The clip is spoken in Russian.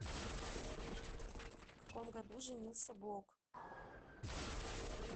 в каком году женился блок